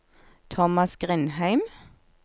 Thomas Grindheim